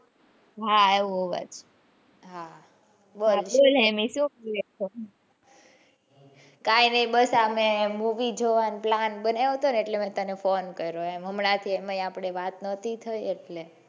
હા આવ્યો અવાજ હા બોલ તેને સુ થયું હશે કઈ ની હવે અમે મૂવી જોવાનો પ્લાન બનાવ્યો હતો ને એટલે મેં તને ફોન કર્યો હમણાં અમે થી આપણી વાત નતી થયીને,